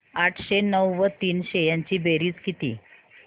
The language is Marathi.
आठशे नऊ व तीनशे यांची बेरीज किती